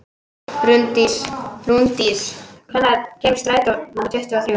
Rúndís, hvenær kemur strætó númer tuttugu og þrjú?